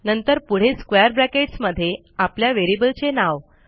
नंतर पुढे square brackets मध्ये आपल्या व्हेरिएबलचे नाव